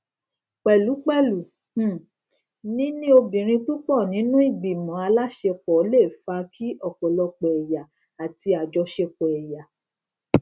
pẹlú pẹlú um níní obìnrin púpọ nínú ìgbìmọ aláṣepọ le fa kí ọpọlọpọ ẹyà àti àjọsepọ ẹyà